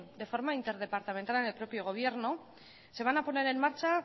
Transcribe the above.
de forma interdepartamental en el propio gobierno se van a poner en marcha